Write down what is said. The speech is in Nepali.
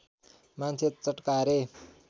मान्छे चटकारे